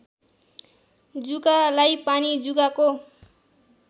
जुकालाई पानी जुकाको